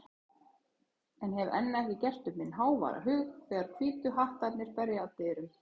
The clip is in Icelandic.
en hef enn ekki gert upp minn háværa hug þegar Hvítu hattarnir berja að dyrum.